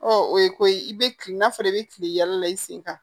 Ɔ o ye ko ye i bɛ kilen n'a fɔra i bɛ kilen yala i sen kan